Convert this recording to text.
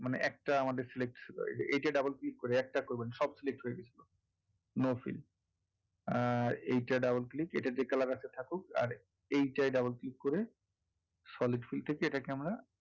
মানে একটা আমাদের select এইটা double click করে একটা করবেন সব select হয়ে গেছিলো no fill করে এইটা double click এইটা যেই colour আছে থাকুক এইটায় double click করে solid fill থেকে আমরা,